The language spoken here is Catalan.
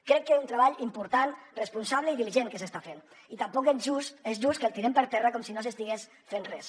crec que és un treball important responsable i diligent que s’està fent i tampoc és just que el tirem per terra com si no s’estigués fent res